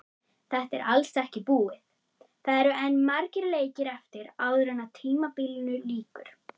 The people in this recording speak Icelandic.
Þetta er alls ekki búið, það eru enn margir leikir eftir áður en tímabilinu lýkur.